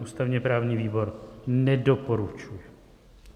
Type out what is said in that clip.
Ústavně-právní výbor nedoporučuje.